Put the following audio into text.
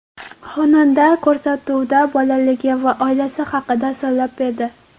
Xonanda ko‘rsatuvda bolaligi va oilasi haqida so‘zlab berdi.